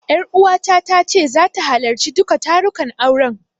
Ƴaruwata ta ce zata halarci duka tarukan auren.